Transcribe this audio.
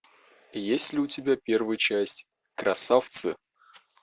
есть ли у тебя первая часть красавцы